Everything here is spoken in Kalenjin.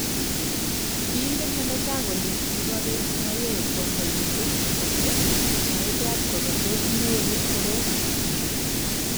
kiingen meneja kole kiborei Mayowe kwondonyin buch ako maibwaat kole tos nyoru korot